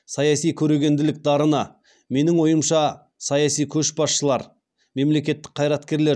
саяси көрегенділік дарыны менің ойымша саяси көшбасшылар мемлекеттік қайраткерлер